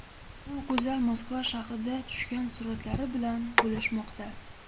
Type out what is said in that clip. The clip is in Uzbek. U go‘zal Moskva shahrida tushgan suratlari bilan bo‘lishmoqda.